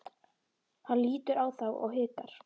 Hann lítur á þá og hikar.